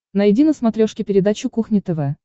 найди на смотрешке передачу кухня тв